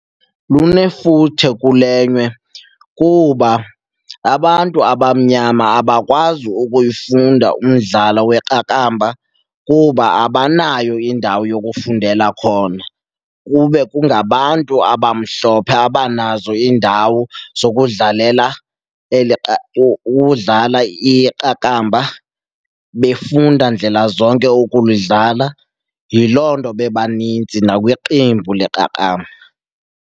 Lunefuthe kule nyewe kuba abantu abamnyama abakwazi ukuyifunda umdlalo weqakamba kuba abanayo indawo yokufundela khona kube kungabantu abamhlophe abanazo iindawo zokudlalela ukudlala iqakamba, befunda ndlela zonke ukulidlala. Yiloo nto bebaninzi nakwiqembu leqakamba.